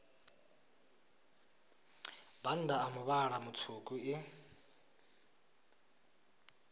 bannda a muvhala mutswuku i